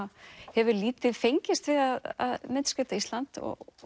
hefur lítið fengist við að myndskreyta Ísland